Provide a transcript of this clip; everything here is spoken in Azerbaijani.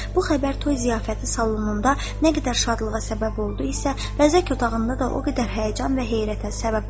Bu xəbər toy ziyafəti salonunda nə qədər şadlığa səbəb oldu isə, vəzək otağında da o qədər həyəcan və heyrətə səbəb oldu.